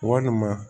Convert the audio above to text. Walima